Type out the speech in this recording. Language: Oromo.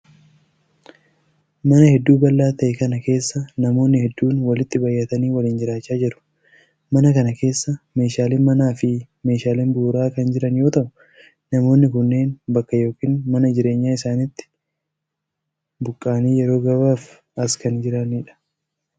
Mana hedduu bal'aa ta'e kana keessa namoonni hedduun walitti baay'atanii waliin jiraachaa jiru. Mana kana keessa meeshaaleen manaa fi meeshaaleen bu'uuraa kan jiran yoo ta'u, namoonni kunneen bakka yookin mana jireenyaa isaanitti buqqa'anii yeroo gabaabaaf as kan jiranii dha.